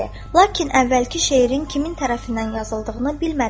"Lakin əvvəlki şeirin kimin tərəfindən yazıldığını bilmədim.